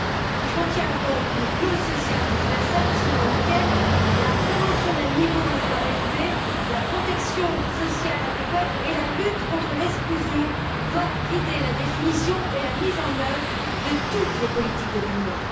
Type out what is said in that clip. Il contient donc une clause sociale transversale selon laquelle la promotion d'un niveau d'emploi élevé, la protection sociale adéquate et la lutte contre l'exclusion doivent guider la définition et la mise en œuvre de toutes les politiques de l'Union.